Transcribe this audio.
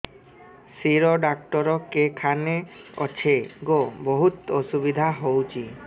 ଶିର doctor କେଖାନେ ଅଛେ ଗୋ ବହୁତ୍ ଅସୁବିଧା ହଉଚି